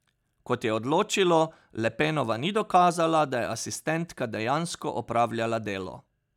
Kot je odločilo, Le Penova ni dokazala, da je asistentka dejansko opravljala delo.